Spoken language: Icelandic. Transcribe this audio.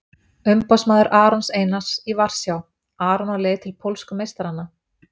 Umboðsmaður Arons Einars í Varsjá- Aron á leið til pólsku meistarana?